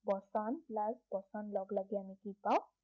বচন বচন লগলাগি আমি কি পায়